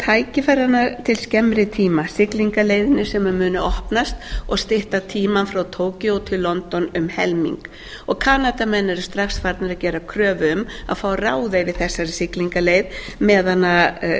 tækifæranna til skemmri tíma siglingarleiðina sem muni opnast og stytta tímann frá tókíó til london um helming og kanadamenn eru strax farnir að gera kröfu um að fá að ráða yfir þessari siglingaleið meðan